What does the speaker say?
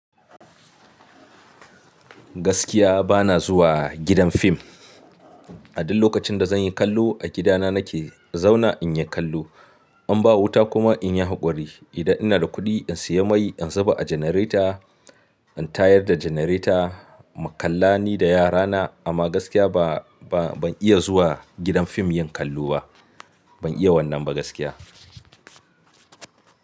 Gaskiya bana zuwa gidan fim. A duk lokacin da zan yi kallo a gidana nake zauna in yi kallo. In ba wuta kuma in yi haƙuri. Idan ina da kuɗi in sayi mai in zuba a generator, in tayar da generator mu kalla ni da yarana. Amma gaskiya ba, ba ban iya zuwa gidan fim yin kallo ba. Ban iya wannan ba gaskiya.